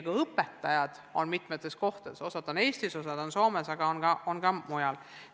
Ka õpetajad on mitmetes kohtades – osa on Eestis, osa on Soomes, aga on ka mujal.